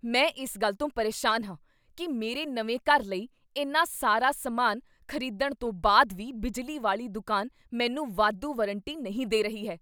ਮੈਂ ਇਸ ਗੱਲ ਤੋਂ ਪਰੇਸ਼ਾਨ ਹਾਂ ਕੀ ਮੇਰੇ ਨਵੇਂ ਘਰ ਲਈ ਇੰਨਾ ਸਾਰਾ ਸਮਾਨ ਖ਼ਰੀਦਣ ਤੋਂ ਬਾਅਦ ਵੀ ਬਿਜਲੀ ਵਾਲੀ ਦੁਕਾਨ ਮੈਨੂੰ ਵਾਧੂ ਵਾਰੰਟੀ ਨਹੀਂ ਦੇ ਰਹੀ ਹੈ।